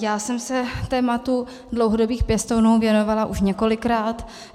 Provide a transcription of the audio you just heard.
Já jsem se tématu dlouhodobých pěstounů věnovala už několikrát.